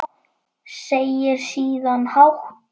Segir síðan hátt: